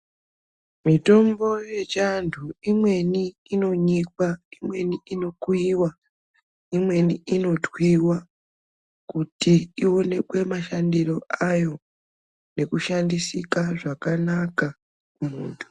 Mitombo yechiantu imweni inonyikwa, imweni inokuyiwa, imweni inotwiwa kuti iwonekwe mashandiro ayo nekushandisika zvakanaka mumuntu